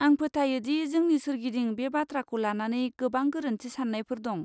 आं फोथायो दि जोंनि सोरगिदिं बे बाथ्राखौ लानानै गोबां गोरोन्थि साननायफोर दं।